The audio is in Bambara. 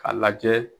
K'a lajɛ